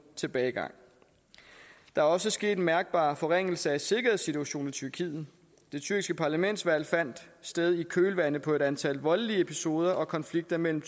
tilbagegang der er også sket en mærkbar forringelse af sikkerhedssituationen i tyrkiet det tyrkiske parlamentsvalg fandt sted i kølvandet på et antal voldelige episode og konflikter mellem